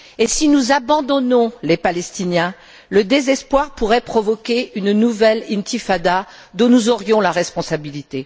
Si nous abandonnons les Palestiniens, le désespoir pourrait provoquer une nouvelle intifada dont nous aurions la responsabilité.